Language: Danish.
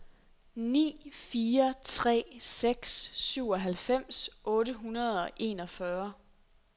ni fire tre seks syvoghalvfems otte hundrede og enogfyrre